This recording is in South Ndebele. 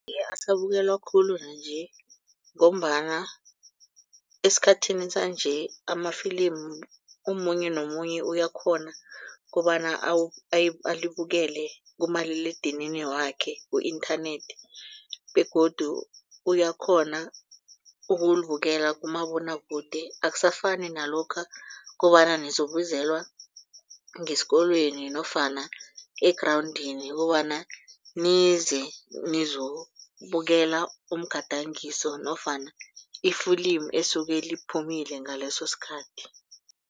Asabukelwa khulu nanje ngombana esikhathini sanje amafilimu omunye nomunye uyakhona kobana alibukele kumaliledinini wakhe ku-internet begodu uyakhona ukulibukela kumabonwakude akusafani nalokha kobana nizokubizelwa ngesikolweni nofana egrawundini kobana nize nizokubukela umgadangiso nofana iflimu esuke liphumile ngaleso sikhathi.